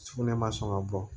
Sugunɛ ma sɔn ka bɔ